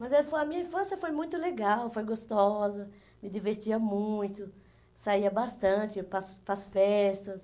Mas daí foi a minha infância foi muito legal, foi gostosa, me divertia muito, saía bastante para as para as festas.